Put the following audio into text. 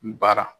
N bara